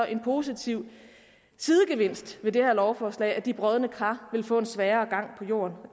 en positiv sidegevinst ved det her lovforslag altså at de brodne kar vil få en sværere gang på jorden